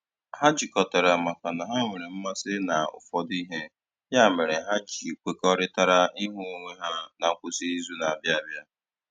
Ha jikọtara maka ha nwere mmasị na ụfọdụ ihe, ya mere ha ji kwekọrịtara ịhụ onwe ha na nkwụsị izu na - abịa abịa